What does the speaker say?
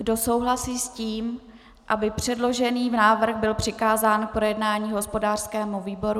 Kdo souhlasí s tím, aby předložený návrh byl přikázán k projednání hospodářskému výboru?